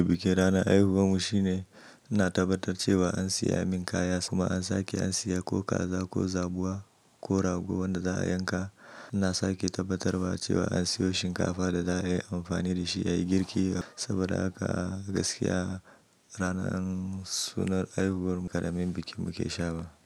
Bikin rana aihuwar mu shine, ana tabbatar cewa an siya min kaya kuma an sake an siya ko kaza ko zabuwa ko rago wanda za a yanka. Ana sake tabbatarwa cewa an siyo shinkafa da za a yi amfani da shi yayi girki saboda haka a gaskiya ranar sunar aihuwar karamin bikin muke sha ba.